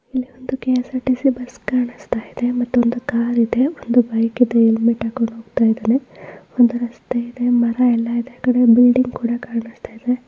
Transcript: ಇಲ್ಲಿ ಒಂದು K S R T_ C bus ಕಾಣಿಸ್ತಾ ಇದೆ. ಮತ್ತೆ ಒಂದು ಕಾರಿಗೆ ಒಂದು ಬೈಕ್ ಇದೆ ಹೆಲ್ಮೆಟ್ ಹಾಕಿಕೊಂಡು ಹೋಗುತ್ತಿದ್ದಾನೆ ರಸ್ತೆ ಇದೆ ಮರ ಇದೆ ಬಿಲ್ಡಿಂಗ್ ಕೂಡ ಕಾಣಿಸ್ತಾ ಇದೆ.